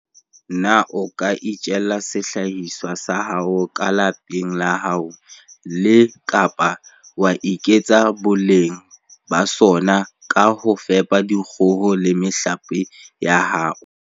Na o ka itjella sehlahiswa sa hao ka lapeng la hao le, kapa wa eketsa boleng ba sona ka ho fepa dikgoho le mehlape ya hao?